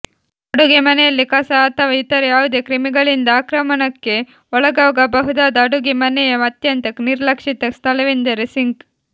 ಅಡುಗೆ ಮನೆಯಲ್ಲಿ ಕಸ ಅಥವಾ ಇತರ ಯಾವುದೇ ಕ್ರಿಮಿಗಳಿಂದ ಆಕ್ರಮಣಕ್ಕೆ ಒಳಗಾಗಬಹುದಾದ ಅಡುಗೆ ಮನೆಯ ಅತ್ಯಂತ ನಿರ್ಲಕ್ಷಿತ ಸ್ಥಳವೆಂದರೆ ಸಿಂಕ್